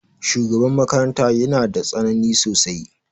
Shugaban makaranta ya na da tsanani sosai.